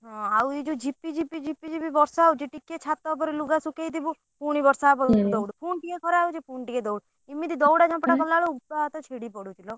ହଁ ଆଉ ଏଇ ଯଉ ଝିପିଝିପି ଝିପିଝିପି ବର୍ଷା ହଉଛି ଟିକେ ଛାତ ଉପରେ ଲୁଗା ଶୁଖେଇ ଥିବୁ ପୁଣି ବର୍ଷା ହବ ଦୌଡୁ ପୁଣି ଟିକେ ଖରା ହଉଛି ପୁଣି ଟିକେ ଦୌଡୁ ଏମିତି ଦଉଡା ଧପଡା କଲା ବେଳକୁ ଗୋଡ ହାତ ଛିଡି ପଡୁଛି ଲୋ।